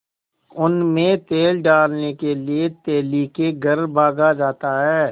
उनमें तेल डालने के लिए तेली के घर भागा जाता है